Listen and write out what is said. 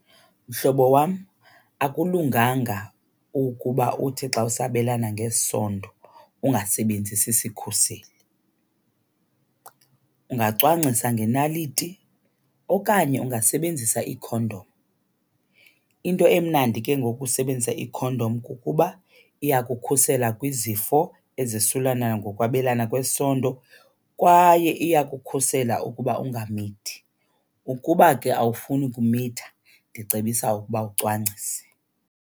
Mhlobo wam, akulunganga ukuba uthi xa usabelana ngesondo ungasebenzisi sikhuseli. Ungacwangcisa ngenaliti okanye ungasebenzisa ikhondom. Into emnandi ke ngokusebenzisa ikhondom kukuba iyakukhusela kwizifo ezosulelana ngokwabelana kwesondo kwaye iyakukhusela ukuba ungamithi. Ukuba ke awufuni ukumitha ndicebisa ukuba ucwangcise.